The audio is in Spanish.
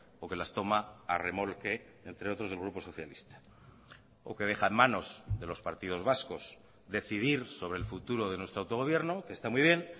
o que las toma a remolque entre otros del grupo socialista o que deja en manos de los partidos vascos decidir sobre el futuro de nuestro autogobierno que está muy bien